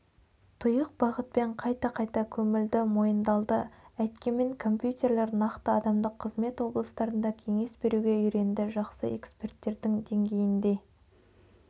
тұйық бағытпен қайта-қайта көмілді мойындалды әйткенмен компьютерлер нақты адамдық қызмет облыстарында кеңес беруге үйренді жақсы эксперттердің деңгейінде